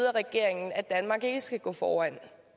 af regeringen at danmark ikke skal gå foran